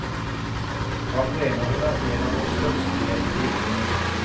Han mener hun er en av våre største gjennom tidene.